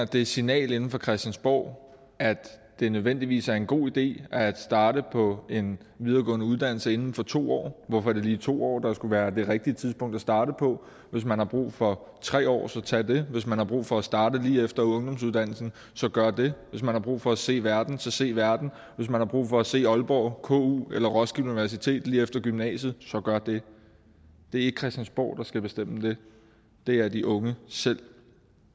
det signal inde fra christiansborg at det nødvendigvis er en god idé at starte på en videregående uddannelse inden for to år hvorfor er det lige to år der skulle være det rigtige tidspunkt at starte på hvis man har brug for tre år så tag det hvis man har brug for at starte lige efter ungdomsuddannelsen så gør det hvis man har brug for at se verden så se verden hvis man har brug for at se i aalborg ku eller roskilde universitet lige efter gymnasiet så gør det det er ikke christiansborg der skal bestemme det det er de unge selv